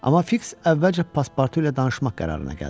Amma Fiks əvvəlcə Paspartu ilə danışmaq qərarına gəldi.